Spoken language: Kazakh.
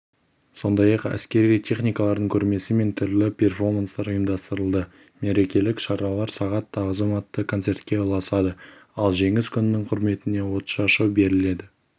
сондай-ақ әскери техникалардың көрмесі мен түрлі перфоманстар ұйымдастырылды мерекелік шаралар сағат тағзым атты концертке ұласады ал жеңіс күнінің құрметіне отшашу беріледі